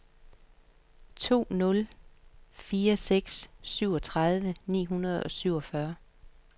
to nul fire seks syvogtredive ni hundrede og syvogfyrre